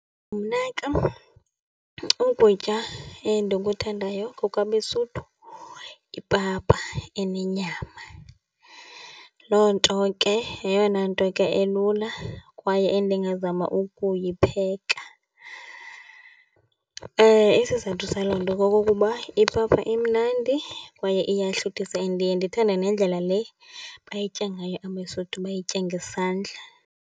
Mna ke ukutya endikuthandayo kokwabeSuthu, yipapa enenyama. Loo nto ke yeyona nto ke elula kwaye endingazama ukuyipheka. Isizathu saloo nto kokokuba ipapa imnandi kwaye iyahluthisa. And ndiye ndithande nendlela le bayiya ngayo abeSuthu, bayitya ngesandla.